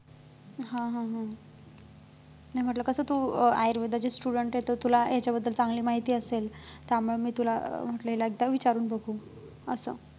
हा हा हा नाही म्हटलं कसं तू अं आयुर्वेदाची student आहे तर तुला ह्यांच्याबद्दल चांगली माहिती असेल त्यामुळे मी तुला अं म्हटलेलं एकदा विचारून बघू असं